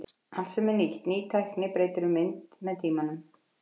Allt sem er nýtt, ný tækni, breytir um mynd með tímanum.